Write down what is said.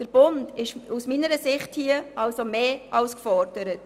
Der Bund ist aus meiner Sicht hier also mehr als gefordert.